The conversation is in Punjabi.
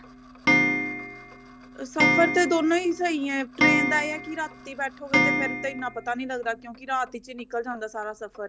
ਸਫਰ ਤਾਂ ਦੋਨੋ ਹੀ ਸਹੀ ਹੈ train ਦਾ ਇਹ ਹੈ ਕਿ ਰਾਤੀ ਬੈਠੋਗੇ ਤਾਂ ਇੰਨਾ ਪਤਾ ਨਹੀਂ ਲੱਗਦਾ ਕਿਉਂਕਿ ਰਾਤ ਚ ਹੀ ਨਿਕਲ ਜਾਂਦਾ ਸਾਰਾ ਸਫਰ